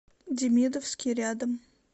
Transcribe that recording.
демидовский рядом